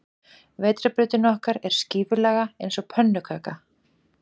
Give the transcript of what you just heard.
Vetrarbrautin okkar er skífulaga eins og pönnukaka.